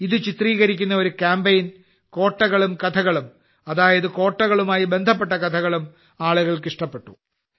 ഇത് ചിത്രീകരിക്കുന്ന ഒരു കാമ്പെയ്ൻ കോട്ടകളും കഥകളും അതായത് കോട്ടകളുമായി ബന്ധപ്പെട്ട കഥകളും ആളുകൾക്ക് ഇഷ്ടപ്പെട്ടു